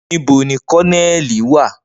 Nibo ni Kononeli wa?